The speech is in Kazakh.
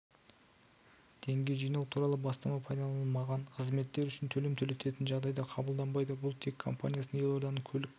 теңге жинау туралы бастама пайдаланылмаған қызметтер үшін төлем төлететін жағдайда қабылданбайды бұл тек компаниясының елорданың көлік